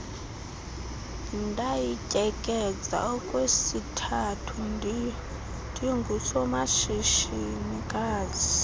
ndayityekeza okwesithathu ndingusomashishinikazi